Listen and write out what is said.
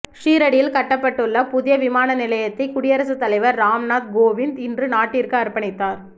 ஷீரடியில் கட்டப்பட்டுள்ள புதிய விமான நிலையத்தை குடியரசுத்தலைவர் ராம்நாத் கோவிந்த் இன்று நாட்டிற்கு அர்ப்பணித்தார்